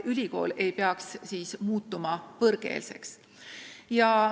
Ülikool ei peaks siis muutuma võõrkeelseks.